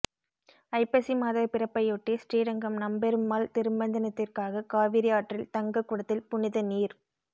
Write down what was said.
ஐப்பசி மாத பிறப்பையொட்டி ஸ்ரீரங்கம் நம்பெருமாள் திருமஞ்சனத்திற்காக காவிரி ஆற்றில் தங்க குடத்தில் புனித நீர்